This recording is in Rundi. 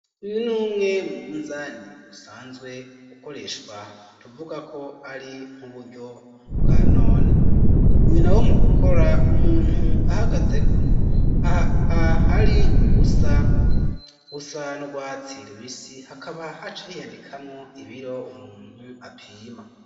Uyu numwe mu munzani usanzwe ukoreshwa tuvuga ko ari nk'uburyo bwa none iyu nawo mu gukora umuntu ahagazeko aha hari ubusa busa n'urwatsi rubisi hakaba haca hiyandikamwo ibiro umuntu apima